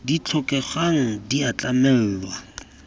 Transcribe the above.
di tlhokegang di a tlamelwa